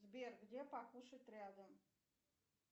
сбер где покушать рядом